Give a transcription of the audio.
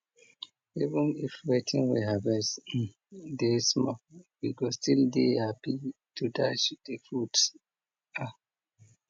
even if wetin we harvest um dey small we go still dey happy to dash de fruits um